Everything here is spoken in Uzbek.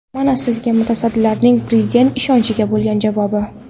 Mana sizga mutasaddilarning Prezident ishonchiga bo‘lgan javobi.